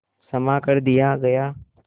क्षमा कर दिया गया